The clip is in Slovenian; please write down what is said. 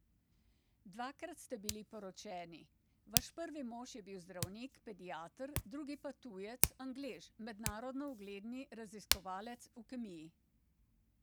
Dvakrat ste bili poročeni, vaš prvi mož je bil zdravnik, pediater, drugi pa tujec, Anglež, mednarodno ugledni raziskovalec v kemiji.